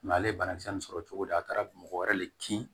ale ye banakisɛ nunnu sɔrɔ cogo di a taara mɔgɔ wɛrɛ le kin